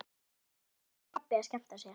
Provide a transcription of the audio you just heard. Þetta voru bara pabbi og mamma að skemmta sér.